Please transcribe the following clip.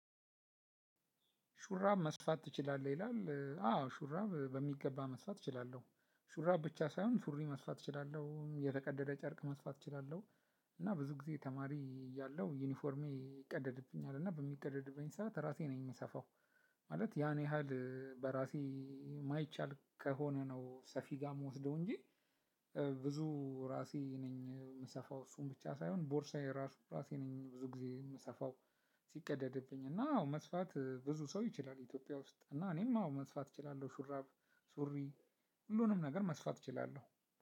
ሹራብ መስፋት ትችላለህ? ይላል አዎ ሹራብ በሚገባ መስፋት እችላለሁ። ሹራብ ብቻ ሳይሆን ሱሪ መስፋት እችላለሁ የተቀደደ ጨርቅ መስፋት እችላለሁ እና ብዙ ጊዜ ተማሪ እያለሁ ዩኒፎርሜ ይቀደድብኛል እና በሚቀደድበኝ ሰዓት ራሴ ነኝ የምሰፋው ማለት ያን ያህል በራሴ የማይቻል ከሆነ ነው ሰፊ ጋር የምወስደው እንጂ ብዙ ራሴ ነኝ የምሰፋው እሱን ብቻ ሳይሆን ቦርሳዬ ራሱ ራሴ ነኝ ብዙ ጊዜ የምሰፋው ሲቀደድብኝ እና አዎ መስፋት ብዙ ሰው ይችላል ኢትዮጵያ ውስጥ እና እኔም አዎ መስፋት እችላለሁ ሹራብ ሱሪ ሁሉንም ነገር መስፋት እችላለሁ